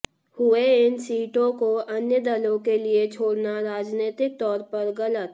हुए इन सीटों को अन्य दलों के लिए छोड़ना राजनीतिक तौर पर गलत